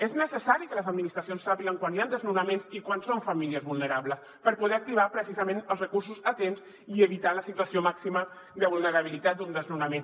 és necessari que les administracions sàpiguen quan hi han desno·naments i quan són famílies vulnerables per poder activar precisament els recursos a temps i evitar la situació màxima de vulnerabilitat d’un desnonament